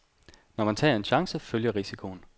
Når man tager en chance, følger risikoen.